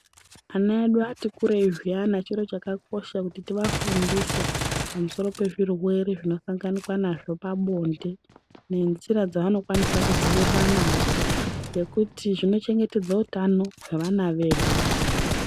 Ana vedu vati kurei zviyani charo chakakosha kuti tiafundise pamusoro pezvirwere zvinosanganikwa nazvo pabonde, ngenjira dzaanokwanisa kudzivirira nadzo. Ngekuti zvinochengetsedza utano hwevana vedu.